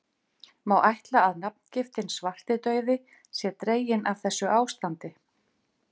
Má ætla að nafngiftin svartidauði sé dregin af þessu ástandi.